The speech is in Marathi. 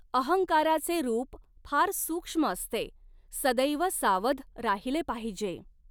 अहंकाराचे रूप फार सूक्ष्म असते, सदैव सावध राहिले पाहिजे.